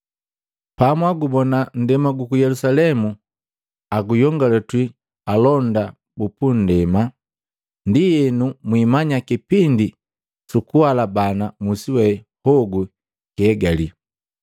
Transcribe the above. “Pamwagubona nndema guku Yelusalemu aguyongalwiti alonda bu pundema, ndienu mwiimanya kipindi sukuguhalabana musi we hogu kihegali.